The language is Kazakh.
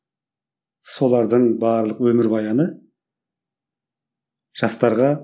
солардың барлық өмірбаяны жастарға